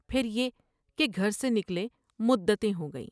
پھر یہ کہ گھر سے نکلے مدتیں ہوگئیں ۔